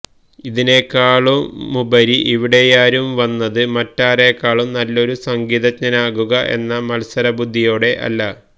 അതിനേക്കാളുപരി ഇവിടെയാരും വന്നത് മറ്റാരേക്കാളും നല്ലൊരു സംഗീതജ്ഞനാകുക എന്ന മത്സര ബുദ്ധിയോടെ അല്ല